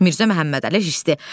Mirzə Məhəmmədəli hisdi.